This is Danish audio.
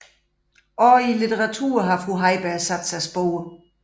Også i litteraturen har fru Heiberg sat sig spor